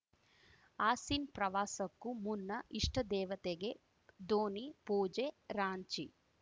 ಆಸೀನ್ ಪ್ರವಾಸಕ್ಕೂ ಮುನ್ನ ಇಷ್ಟದೇವತೆಗೆ ಧೋನಿ ಪೂಜೆ ರಾಂಚಿ